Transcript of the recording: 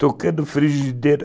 Tocando frigideira.